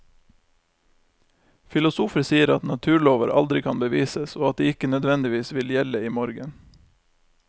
Filosofer sier at naturlover aldri kan bevises, og at de ikke nødvendigvis vil gjelde i morgen.